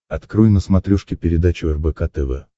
открой на смотрешке передачу рбк тв